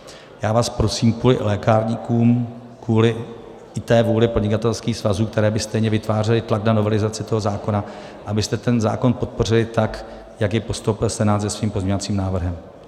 Já vás prosím kvůli lékárníkům, kvůli i té vůli podnikatelských svazů, které by stejně vytvářely tlak na novelizaci toho zákona, abyste ten zákon podpořili tak, jak jej postoupil Senát se svým pozměňovacím návrhem.